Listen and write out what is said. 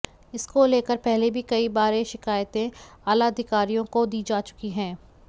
इसको लेकर पहले भी कई बारे शिकायतें आला अधिकारियों को दी जा चुकी हैं